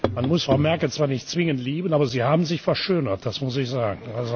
Man muss Frau Merkel zwar nicht zwingend lieben, aber Sie haben sich verschönert, das muss ich sagen.